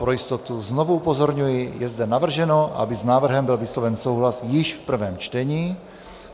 Pro jistotu znovu upozorňuji, je zde navrženo, aby s návrhem byl vysloven souhlas již v prvém čtení.